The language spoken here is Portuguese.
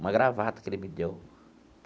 Uma gravata que ele me deu.